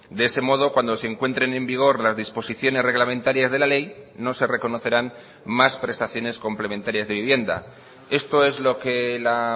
de ese modo cuando se encuentren en vigor las disposiciones reglamentarias de la ley no se reconocerán más prestaciones complementarias de vivienda esto es lo que la